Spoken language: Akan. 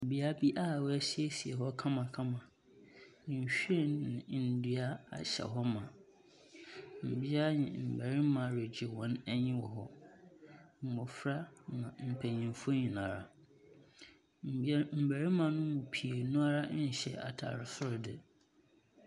Bea bi wɔesiesie kamakama, na nhyiren na ndua ahyɛ hɔ ma. Mbea ne mmarima regye wɔn ani wɔ hɔ, mmɔfra ne mpanimfo nyinara. Mmarima ne mu piinara nhyɛ ataare soro de.